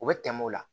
U bɛ tɛmɛ o la